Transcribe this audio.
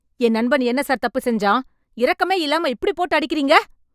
என் நண்பன் என்ன சார் தப்பு செஞ்சான்... இரக்கமே இல்லாம இப்டி போட்டு அடிக்கறீங்க.